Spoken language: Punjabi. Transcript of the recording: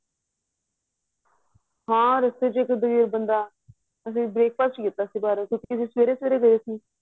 ਹਾਂ ਰੱਸਤੇ ਵਿੱਚ ਇੱਕ ਗਰੀਬ ਬੰਦਾ breakfast ਕੀਤਾ ਸੀ ਕਿਉਂਕਿ ਸਵੇਰੇ ਸਵੇਰੇ ਗਏ ਸੀ